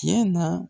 Tiɲɛ na